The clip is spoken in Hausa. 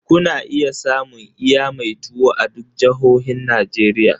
Kuna iya samun iya mai tuwo a duk jahohin Najeriya.